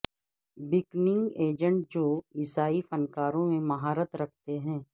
booking agent جو عیسائی فنکاروں میں مہارت رکھتے ہیں